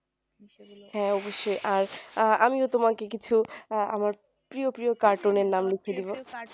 হ্যাঁ অবশ্যই আর আহ আমিও তোমাকে কিছু আহ আমার প্রিয় প্রিয় cartoon নের নাম লিখে দিবো